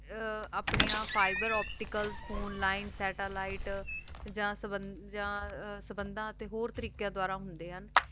ਆਪਣੀਆਂ fiber opticals phone lines sattelite ਜਾਂ ਜਾਂ ਸੰਭੰਦਾਂ ਤੇ ਹੋਰ ਤਾਰਿਕ਼ਯਾਂ ਦਾਵਰ ਹੁੰਦੇ ਹਨ